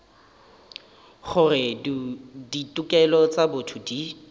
gore ditokelo tša botho di